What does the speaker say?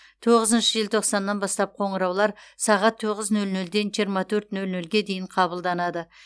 тоғызыншы желтоқсаннан бастап қоңыраулар сағат тоғыз нөл нөлден жиырма төрт нөл нөлге дейін қабылданады